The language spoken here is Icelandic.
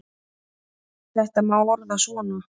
Þetta má orða svo að